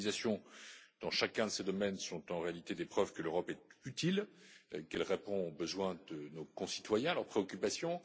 Ses réalisations dans chacun de ces domaines sont, en réalité, des preuves que l'Europe est utile et qu'elle répond aux besoins de nos concitoyens ainsi qu'à leurs préoccupations.